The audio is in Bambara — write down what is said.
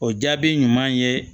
O jaabi ɲuman ye